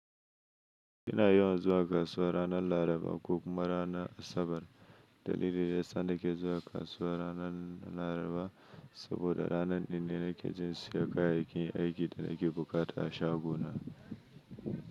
Ina yawan zuwa kasuwa ranar Laraba ko kuma ranar Asabar. Dalilin da ya sa nake zuwa kasuwa ranar Laraba saboda ranar din ne nake jin siyan, kayayyakin aiki da naki buƙata a shago na.